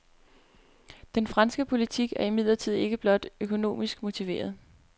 Den franske politik er imidlertid ikke blot økonomisk motiveret.